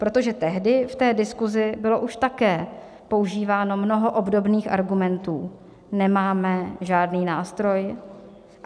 Protože tehdy v té diskusi bylo už také používáno mnoho obdobných argumentů: nemáme žádný nástroj.